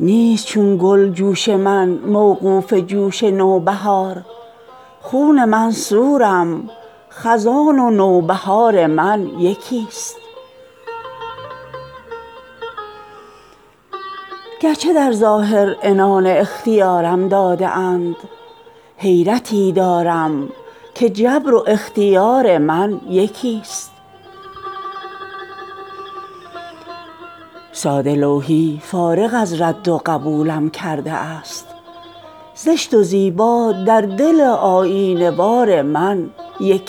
چون به خاطر آن دو لعل آبدار آید مرا صد بدخشان اشک خونین در کنار آید مرا خون خود را می کنم چون آب بر تیغش حلال بر سر بالین اگر آن گلعذار آید مرا آن که برق خرمنم در زندگی هرگز نشد بعد مردن چشم دارم بر مزار آید مرا تن به هجران دادن و از دور دیدن خوشترست من که از خود می روم چون در کنار آید مرا خار دیوارم خزان و نوبهار من یکی است نخل امیدی ندارم تا به بار آید مرا شبنم من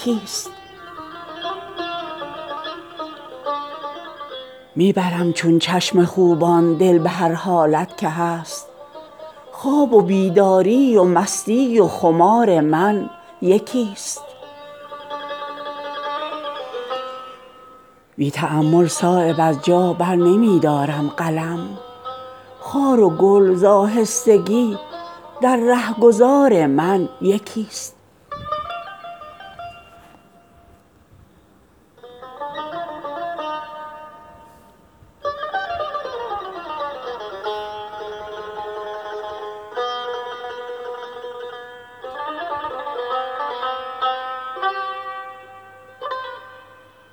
چشم می پوشد ز روی آفتاب چهره گل کی به چشم اشکبار آید مرا خار صحرای جنون گر سر بسر سوزن شود از جگر بیرون کجا این خار خار آید مرا از نظر چون رفت برگشتن ندارد آب عمر گریه حسرت مگر در جویبار آید مرا همت من پشت پا بر عالم باقی زده است چیست دنیا تا به چشم اعتبار آید مرا هر که را کاری است گردون می زند بر یکدگر وقت آن آمد که بیکاری به کار آید مرا می شنیدم پیش ازین از خون شمیم نوبهار بوی خون اکنون به مغز از نوبهار آید مرا ای که داری خنده بر کوتاه دستی های من باش چندانی که دولت در کنار آید مرا کی به فکر وعده ام آن بی وفا خواهد فتاد خون اگر صایب ز چشم انتظار آید مرا